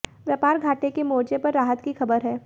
व्यापार घाटे के मोर्चे पर राहत की खबर है